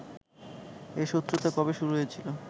এ শত্রুতা কবে শুরু হয়েছিল